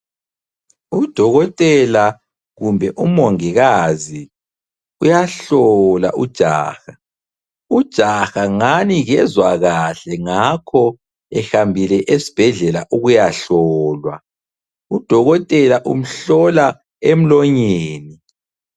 Udokotela kumbe umongikazi uyahlola ujaha. Ujaha ngani kezwa kahle ngakho ehambile esibhedlela ukuyahlolwa. Udokotela umhlola emlonyeni.